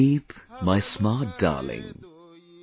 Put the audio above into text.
Sleep, my smart darling,